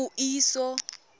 puiso